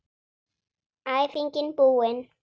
Æfingin búin!